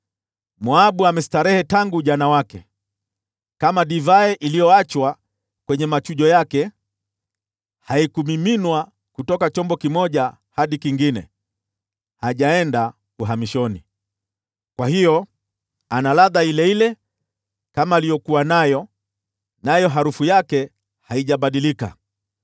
“Moabu amestarehe tangu ujana wake, kama divai iliyoachwa kwenye machujo yake, haikumiminwa kutoka chombo kimoja hadi kingine, hajaenda uhamishoni. Kwa hiyo ana ladha ile ile kama aliyokuwa nayo, nayo harufu yake haijabadilika.